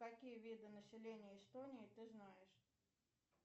какие виды населения эстонии ты знаешь